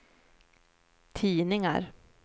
tidningar